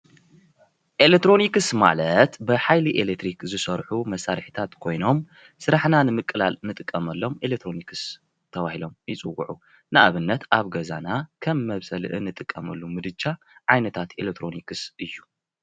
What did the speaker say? ኤለትሮኒክስ ማለት በሓይሊ ኤልትሪክ ዝሰርሑ መሳርሕታት ኮይኖም ስራሓና ንምቅላል ንጥቀመሎም ኤለትሮኒክስ ተበሂሎም ይፅውዑ ። ንኣብነት ኣብ ገዛና ከም መብሰሊ ንጥቀመሎም ምድጃ ዓይነታት ኤልትሮኒክስ እዩ።